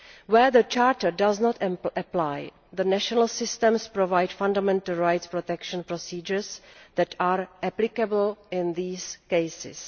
Where the Charter does not apply, the national systems provide fundamental rights protection procedures that are applicable in these cases.